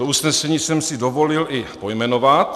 To usnesení jsem si dovolil i pojmenovat.